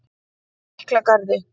Miklagarði